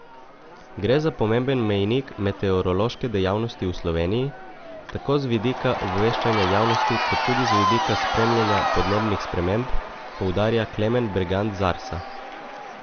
Gre za pomemben mejnik meteorološke dejavnosti v Sloveniji, tako z vidika obveščanja javnosti kot tudi z vidika spremljanja podnebnih sprememb, poudarja Klemen Bergant z Arsa.